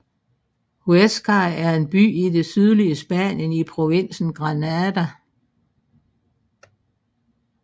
Huéscar er en by i det sydlige Spanien i provinsen Granada